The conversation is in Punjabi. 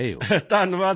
ਧੰਨਵਾਦ ਸਰ ਜੀ